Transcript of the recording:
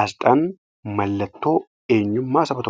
asxaan mallattoo eenyummaa Saba tokkooti.